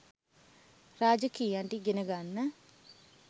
රාජකීයයන්ට ඉගෙන ගන්න